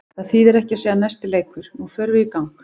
Það þýðir ekki að segja næsti leikur, nú förum við í gang.